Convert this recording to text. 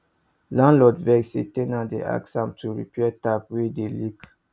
landlord vex say ten ant dey ask am to repair tap wey dey leak